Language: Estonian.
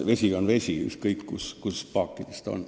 Vesi on vesi, ükskõik kus paagis ta on.